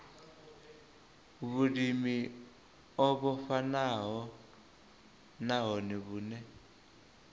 vhulimi o vhofhanaho nahone vhune